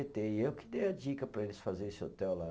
tê, e eu que dei a dica para eles fazer esse hotel lá.